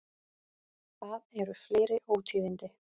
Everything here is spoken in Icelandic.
Það eru fleiri ótíðindi.